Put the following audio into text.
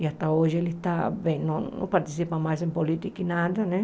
E até hoje ele está bem não não participa mais em política e nada, né?